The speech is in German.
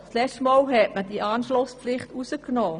Letztes Mal hat man diese Anschlusspflicht herausgenommen.